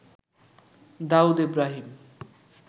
Daud Ibrahim